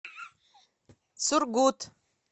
сургут